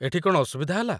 ଏଠି କ'ଣ ଅସୁବିଧା ହେଲା ?